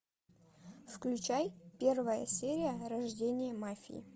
включай первая серия рождение мафии